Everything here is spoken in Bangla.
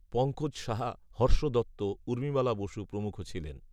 পঙ্কজ সাহা, হর্ষ দত্ত, ঊর্মিমালা বসু প্রমুখ ছিলেন